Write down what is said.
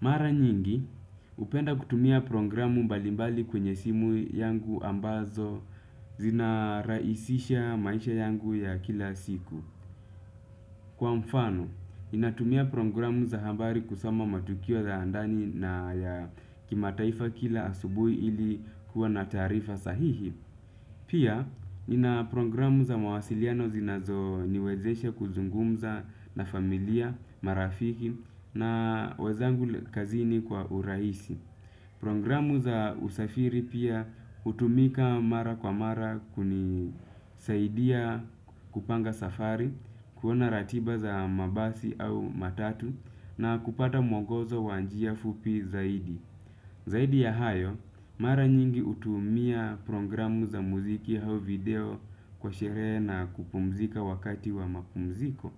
Mara nyingi, hupenda kutumia programu mbalimbali kwenye simu yangu ambazo zinarahisisha maisha yangu ya kila siku. Kwa mfano, inatumia programu za habari kusoma matukio za ndani na ya kimataifa kila asubuhi ili kuwa na taarifa sahihi. Pia, nina programu za mwasiliano zinazo niwezesha kuzungumza na familia, marafiki na wenzangu kazini kwa urahisi. Programu za usafiri pia hutumika mara kwa mara kunisaidia kupanga safari, kuona ratiba za mabasi au matatu na kupata mwongozo wa njia fupi zaidi. Zaidi ya hayo, mara nyingi hutumia programu za mziki hao video kwa sherehe na kupumzika wakati wa mapumziko.